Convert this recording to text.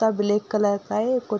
कुत्ता black colour का है कु --